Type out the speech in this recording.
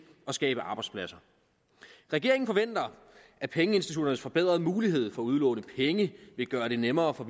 og skabe arbejdspladser regeringen forventer at pengeinstitutternes forbedrede mulighed for at udlåne penge vil gøre det nemmere for